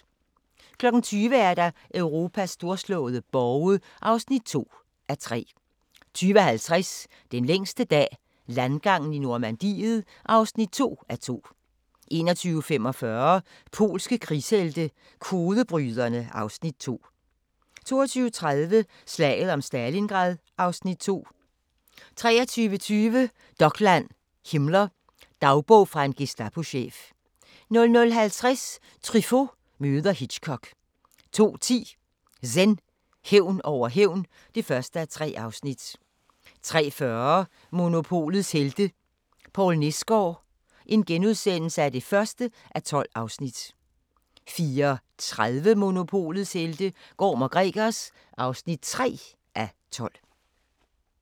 20:00: Europas storslåede borge (2:3) 20:50: Den længste dag – landgangen i Normandiet (2:2) 21:45: Polske krigshelte – kodebryderne (Afs. 2) 22:30: Slaget om Stalingrad (Afs. 2) 23:20: Dokland: Himmler – Dagbog fra en Gestapochef 00:50: Truffaut møder Hitchcock 02:10: Zen: Hævn over hævn (1:3) 03:40: Monopolets helte - Poul Nesgaard (1:12)* 04:30: Monopolets helte - Gorm & Gregers (3:12)